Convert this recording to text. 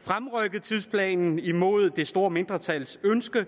fremrykket tidsplanen imod det store mindretals ønske